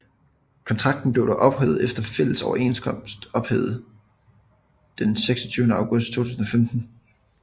Kontrakten blev dog efter fælles overenskomst ophævet den 26 august 2015